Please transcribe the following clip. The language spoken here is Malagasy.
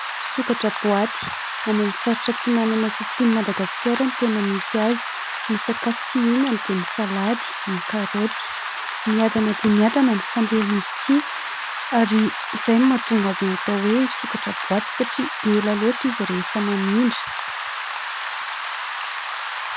Sokatra boaty, any amin'ny faritra antsinanana sy antsimon'i Madagasikara no tena misy azy. Ny sakafo fihinany dia ny salady, ny karaoty. Miadana dia miadana ny fandehan'izy ity, ary izay no mahatonga azy natao hoe sokatra boaty satria ela loatra izy rehefa mamindra.